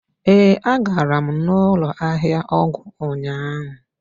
ee, agara m n'ụlọ ahịa ọgwụ ụnyahụ.